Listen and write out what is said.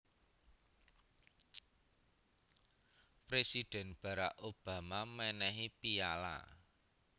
Presidhen Barrack Obama menehi piyala